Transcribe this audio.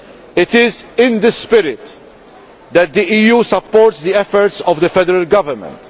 It is in this spirit that the EU supports the efforts of the federal government.